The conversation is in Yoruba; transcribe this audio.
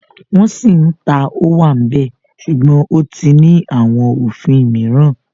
Wọ́n sì ń ta Ówàmbẹ̀ ṣùgbọ́n ó ti ní àwọn òfin mìíràn